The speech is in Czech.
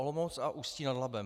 Olomouc a Ústí nad Labem.